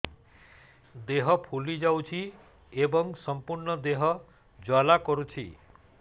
ଦେହ ଫୁଲି ଯାଉଛି ଏବଂ ସମ୍ପୂର୍ଣ୍ଣ ଦେହ ଜ୍ୱାଳା କରୁଛି